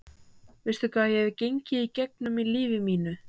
Veistu hvað ég hef gengið í gegnum í lífi mínu?